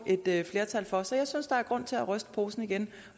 et flertal for så jeg synes der er grund til at ryste posen igen